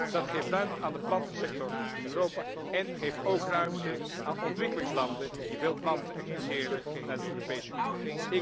Dat geeft ruimte aan de plantensector in Europa en geeft ook ruimte aan ontwikkelingslanden die veel planten exporteren naar de Europese Unie.